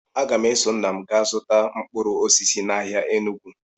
Aga m eso nna m gaa zụta mkpụrụ osisi n'ahịa Enugwu